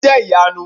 o jẹ iyanu!